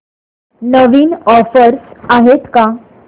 नवीन offers आहेत का